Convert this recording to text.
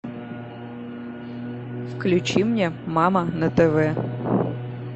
включи мне мама на тв